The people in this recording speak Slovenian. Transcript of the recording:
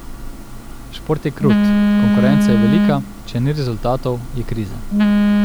Šport je krut, konkurenca je velika, če ni rezultatov, je kriza.